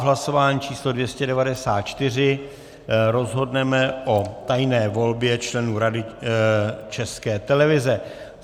V hlasování číslo 294 rozhodneme o tajné volbě členů Rady České televize.